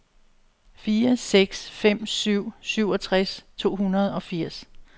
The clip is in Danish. fire seks fem syv syvogtres to hundrede og firs